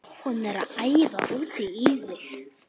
Hún er æf út í þig.